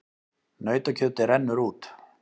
Nautakjötið rennur út